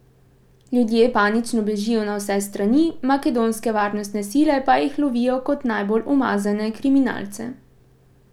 Ljudje panično bežijo na vse strani, makedonske varnostne sile pa jih lovijo kot najbolj umazane kriminalce.